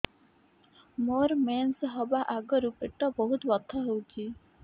ମୋର ମେନ୍ସେସ ହବା ଆଗରୁ ପେଟ ବହୁତ ବଥା ହଉଚି